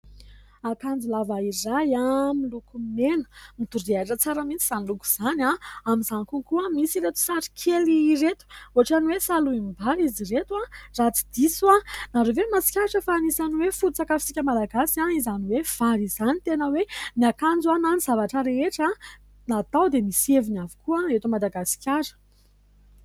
Akanjo lava iray miloko mena midorehitra tsara mihitsy izany loko izany. Amin'izany kokoa misy ireto sary kely ireto ohatra ny hoe salohim-bary izy ireto raha tsy diso. Ianareo ve mahatsikaritra fa anisany hoe foto-tsakafotsika malagasy izany hoe vary izany ? Tena hoe ny akanjo na ny zavatra rehetrarehetra natao dia misy heviny avokoa eto Madagasikara.